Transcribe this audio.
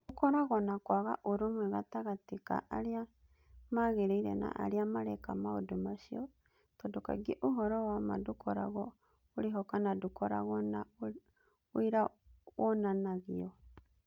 Gũkoragwo na kwaga ũrũmwe gatagatĩ ka arĩa magĩrĩire na arĩa mareka maũndũ macio, tondũ kaingĩ ũhoro wa ma ndũkoragwo ũrĩho kana ndũkoragwo na ũira wonanagio.